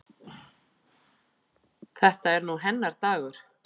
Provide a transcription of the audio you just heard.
Þetta er nú hennar dagur.